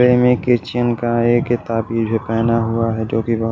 प्रेमी की चिन्ह का एक ये ताबिज पहना हुआ है जो कि बहो --